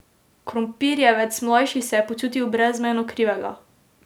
Krompirjevec mlajši se je počutil brezmejno krivega.